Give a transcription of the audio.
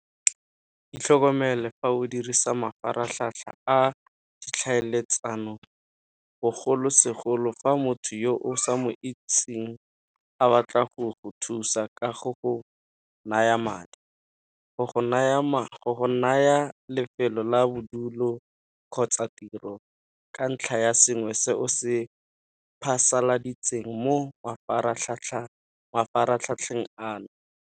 Itlhokomele fa o dirisa mafaratlhatlha a ditlhaeletsano, bogolosegolo fa motho yo o sa mo itseng a batla go go thusa ka go go naya madi, go go naya lefelo la bodulo kgotsa tiro ka ntlha ya sengwe se o se phasaladitseng mo mafaratlhatlheng ano.